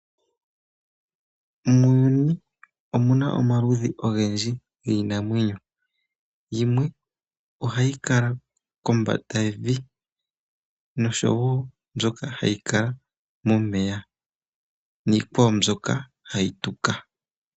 Muuyuni omuna omaludhi ogendji giinamwenyo yimwe ohayi kala kombanda yevi oshowo mbyoka hayi kala momeya, yimwe oombyoka hayi tuka.